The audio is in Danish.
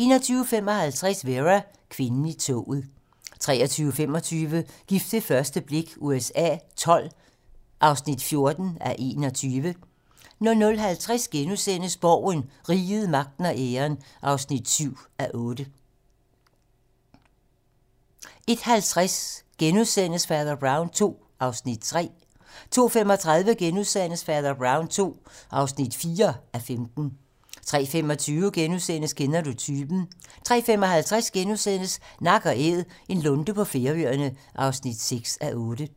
21:55: Vera: Kvinden i toget 23:25: Gift ved første blik USA XII (14:21) 00:50: Borgen - Riget, magten og æren (7:8)* 01:50: Fader Brown II (3:15)* 02:35: Fader Brown II (4:15)* 03:25: Kender du typen? * 03:55: Nak & Æd - en lunde på Færøerne (6:8)*